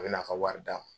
A bɛ n'a ka wari d'a ma